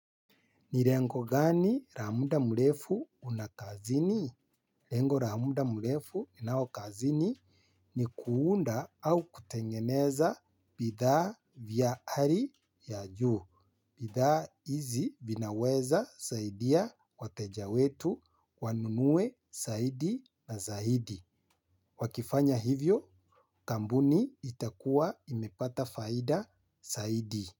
Ni lengo gani la muda mrefu una kazini? Lengo la muda mrefu unao kazini ni kuunda au kutengeneza bidhaa vya hali ya juu. Bidhaa hizi vinaweza saidia wateja wetu wanunue zaidi na zaidi. Wakifanya hivyo kampuni itakuwa imepata faida zaidi.